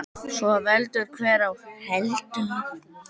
Svo veldur hver á heldur.